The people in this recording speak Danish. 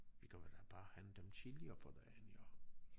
Vi kan vel bare hente dem tidligere på dagen jo